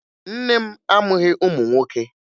Nne m amụghị ụmụ nwoke